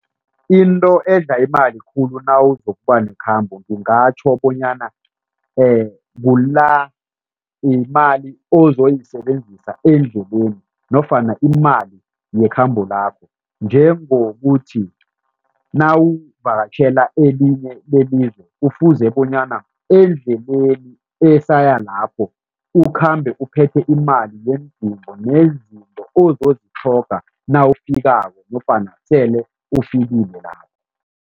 Into edla imali khulu nawuzokuba nekhamba ngingatjho bonyana kula imali ozoyisebenzisa endleleni nofana imali yekhambo lakho. Njengokuthi nawuvakatjhela elinye lelizwe kufuze bonyana endleleni esaya lapho ukhambe uphethe imali nezinto ozozitlhoga nawufikako nofana sele ufikile lapho.